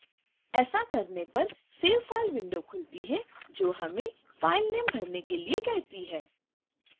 ऐसा करने पर save file window खुलती है जो हमें file name: भरने के लिए कहती है